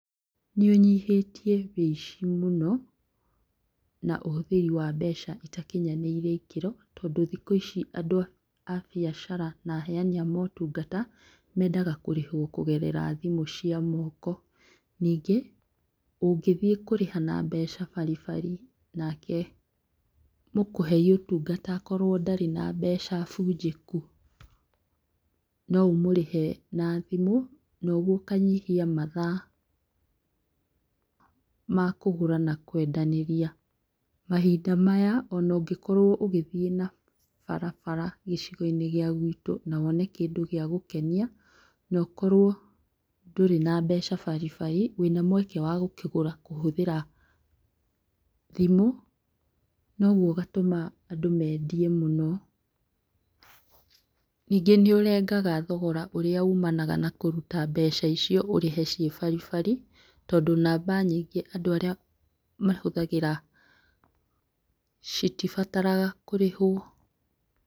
Nĩ ũnyihĩtie woici mũno, na ũhũthĩri wa mbeca itakinyanĩire ikĩro, tondũ thikũ ici andũ a biacara na aheani a motungata mendaga kũrĩhwo kũgerera thimũ cia moko ningĩ ũngĩthiĩ kũrĩha na mbeca baribari nake mũkũhei ũtungata akorwo ndarĩ na mbeca bunjĩku no ũmũrĩhe na thimũ na ũguo ũkanyihia mathaa makũgũra na kwendanĩria. Mahinda maya ona ngĩkorwo ũgĩthiĩ na barabara gĩcigo-inĩ gĩa guitũ na wone kĩndũ gĩa gũkenia na ũkorwo ndũrĩ na mbeca baribari, wĩna mweke wa gũkĩgũra kũhũthĩra thimũ noguo ũgatũma andũ mendie mũno, ningĩ nĩ ũrengaga thogora ũrĩa umanaga na kũruta mbeca icio ũrĩhe ciĩ baribari, tondũ namba nyingĩ andũ arĩa mahũthagĩra citibataraga kũrĩhwo.